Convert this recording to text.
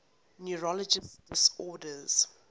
neurological disorders